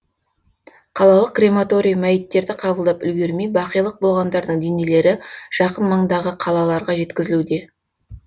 қалалық крематорий мәйіттерді қабылдап үлгермей бақилық болғандардың денелері жақын маңдағы қалаларға жеткізілуде